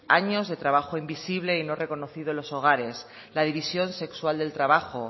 años de trabajo invisible y no reconocido en los hogares la división sexual del trabajo